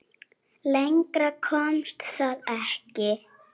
Lengra komst það ekki.